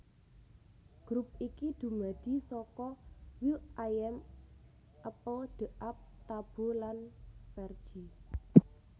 Grup iki dumadi saka will i am apl de ap Taboo lan Fergie